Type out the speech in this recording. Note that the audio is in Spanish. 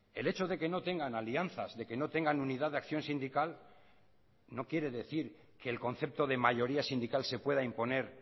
el hecho de que no tengan alianzas de que no tengan unidad de acción sindical no quiere decir que el concepto de mayoría sindical se pueda imponer